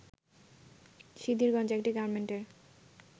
সিদ্ধিরগঞ্জে একটি গার্মেন্টের